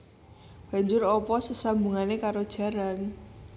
Banjur apa sesambungane karo jaran